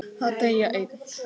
Að deyja einn.